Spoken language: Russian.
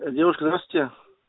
девушка здравствуйте